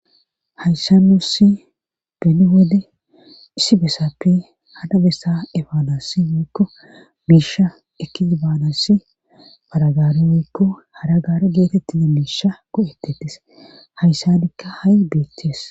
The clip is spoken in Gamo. Hayssa nussi beni wode issi besappe hara bessa efaanassi woykko miisha ekkidi baanasi paragaare woykko hara gaara geetettida miisha go'etettes Hayssanikka ha'i beeththees.